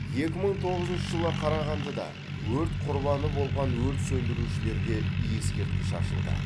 екі мың тоғызыншы жылы қарағандыда өрт құрбаны болған өрт сөндірушілерге ескерткіш ашылды